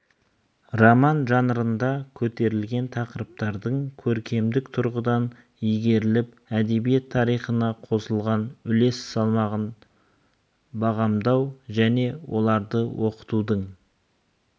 роман жанрында көтерілген тақырыптардың көркемдік тұрғыдан игеріліп әдебиет тарихына қосылған үлес салмағын бағамдау және оларды оқытудың